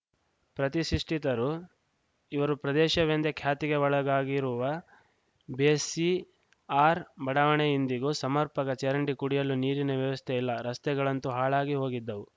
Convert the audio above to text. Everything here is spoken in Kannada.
ಪ್ರತಿಷಿಷ್ಠಿತರು ಇವರು ಪ್ರದೇಶವೆಂದೇ ಖ್ಯಾತಿಗೆ ಒಳಗಾಗಿರುವ ಬೇಸಿಆರ್‌ ಬಡಾವಣೆ ಇಂದಿಗೂ ಸಮರ್ಪಕ ಚರಂಡಿ ಕುಡಿಯಲು ನೀರಿನ ವ್ಯವಸ್ಥೆಯಿಲ್ಲ ರಸ್ತೆಗಳಂತೂ ಹಾಳಾಗಿ ಹೋಗಿದ್ದವು